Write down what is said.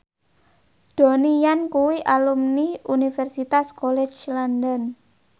Donnie Yan kuwi alumni Universitas College London